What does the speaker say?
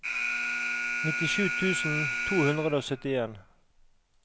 nittisju tusen to hundre og syttien